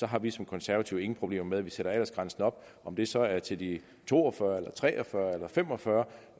har vi som konservative ingen problemer med at vi sætter aldersgrænsen op om det så er til de to og fyrre eller tre og fyrre eller fem og fyrre